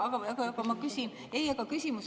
Okei, okei, okei.